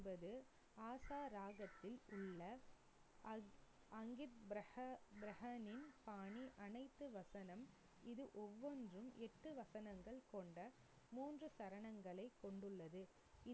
என்பது ஆசா ராகத்தில் உள்ள பாணி அனைத்து வசனம் இது ஒவ்வொன்றும் எட்டு வசனங்கள் கொண்ட மூன்று சரணங்களை கொண்டுள்ளது.